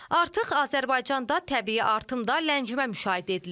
Artıq Azərbaycanda təbii artım da ləngimə müşahidə edilir.